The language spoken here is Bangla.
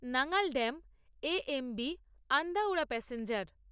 Nangal dam A M B Andaura passenger